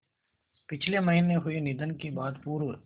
पिछले महीने हुए निधन के बाद पूर्व